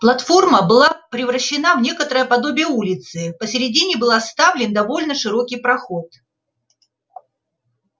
платформа была превращена в некоторое подобие улицы посередине был оставлен довольно широкий проход